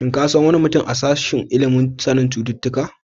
Shin ka san wani mutum ya sashen ilimin sanin cututtuka?